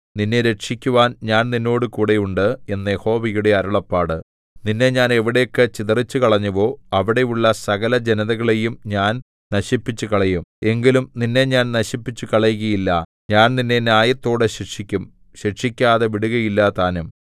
നിന്നെ രക്ഷിക്കുവാൻ ഞാൻ നിന്നോടുകൂടെയുണ്ട് എന്ന് യഹോവയുടെ അരുളപ്പാട് നിന്നെ ഞാൻ എവിടേക്ക് ചിതറിച്ചുകളഞ്ഞുവോ അവിടെയുള്ള സകലജനതകളെയും ഞാൻ നശിപ്പിച്ചുകളയും എങ്കിലും നിന്നെ ഞാൻ നശിപ്പിച്ചുകളയുകയില്ല ഞാൻ നിന്നെ ന്യായത്തോടെ ശിക്ഷിക്കും ശിക്ഷിക്കാതെ വിടുകയില്ലതാനും